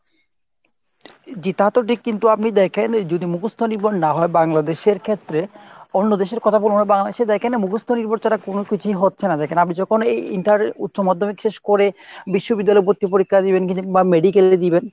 জি তা তো ঠিক কিন্তু আপনি দেখেন যদি মুখস্ত নির্ভর না হয় বাংলাদেশের ক্ষেত্রে অন্য দেশ এর কথা বলবো না বাংলাদেশে দেখেন মুখস্ত নির্ভর ছাড়া কোনো কিছুই হচ্ছে না দেখেন আমি যখন এই inter উচ্চ মাধ্যমিক শেষ করে বিশ্ববিদ্দালয়ে ভর্তি পরীক্ষা দিবেন বা medical এ দিবেন।